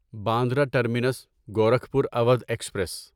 Bandra terminus Gorakhpur Awadh express